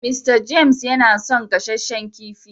"Mr James" yana son gasasshen kifi.